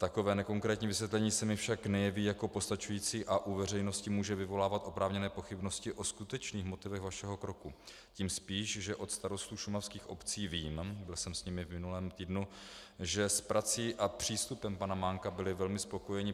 Takové nekonkrétní vysvětlení se mi však nejeví jako postačující a u veřejnosti může vyvolávat oprávněné pochybnosti o skutečných motivech vašeho kroku, tím spíš, že od starostů šumavských obcí vím - byl jsem s nimi v minulém týdnu -, že s prací a přístupem pana Mánka byli velmi spokojeni.